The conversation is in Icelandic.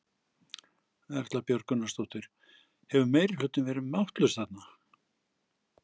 Erla Björg Gunnarsdóttir: Hefur meirihlutinn verið máttlaus þarna?